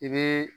I bɛ